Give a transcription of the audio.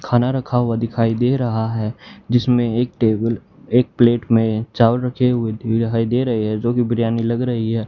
खाना रखा हुआ दिखाई दे रहा है जिसमें एक टेबल एक प्लेट में चावल रखे हुए दिखाई दे रहे हैं जो की बिरयानी लग रही है।